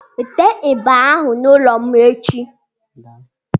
Weta igba ahu n'ụlọ m echi!